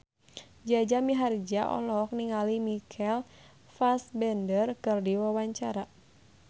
Jaja Mihardja olohok ningali Michael Fassbender keur diwawancara